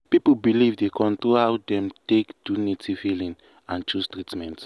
people belief dey control how dem take do native healing and choose treatment.